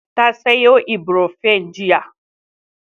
Ta sayo Ibrofen jiya.